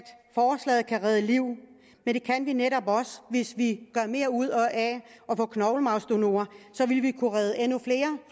forslaget kan redde liv men det kan vi netop også hvis vi gør mere ud af at få knoglemarvsdonorer så vil vi kunne redde endnu flere